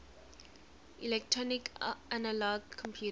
electronic analog computers